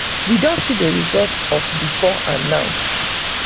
we don see the result of before and now.